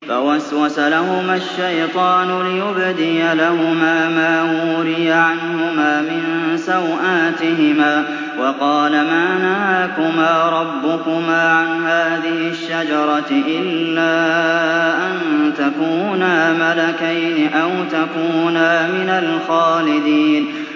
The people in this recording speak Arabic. فَوَسْوَسَ لَهُمَا الشَّيْطَانُ لِيُبْدِيَ لَهُمَا مَا وُورِيَ عَنْهُمَا مِن سَوْآتِهِمَا وَقَالَ مَا نَهَاكُمَا رَبُّكُمَا عَنْ هَٰذِهِ الشَّجَرَةِ إِلَّا أَن تَكُونَا مَلَكَيْنِ أَوْ تَكُونَا مِنَ الْخَالِدِينَ